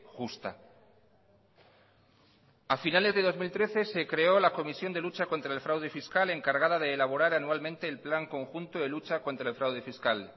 justa a finales de dos mil trece se creó la comisión de lucha contra el fraude fiscal encargada de elaborar anualmente el plan conjunto de lucha contra el fraude fiscal